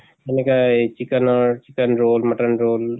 এনেকে এই chicken ৰ chicken roll mutton roll